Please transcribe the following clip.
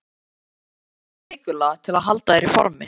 Hvað gerir þú vikulega til að halda þér í formi?